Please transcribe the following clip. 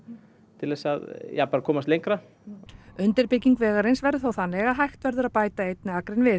til þess ja bara að komast lengra undirbygging vegarins verður þó þannig að hægt verður að bæta einni akrein við